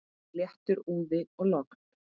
Léttur úði og logn.